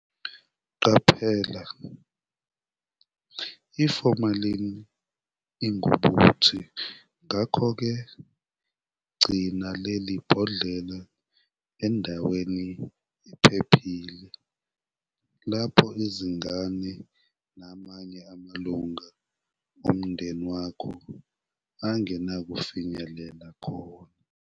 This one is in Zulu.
Qaphela- i-formalin ingubuthi ngakho ke gcina leli bhodlela endaweni ephephile lapho izingane namanye amalunga omndeni wakho eganakufinyelela khona.